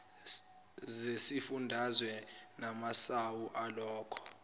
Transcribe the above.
zesifundazwe namasu alokho